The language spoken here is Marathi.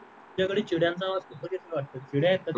तुझ्याकडे चिडिया चा आवाज खूपच येतो चिडिया आहे का तिथे